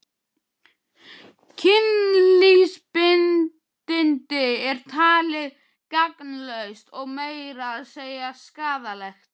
Kynlífsbindindi er talið gagnslaust og meira að segja skaðlegt.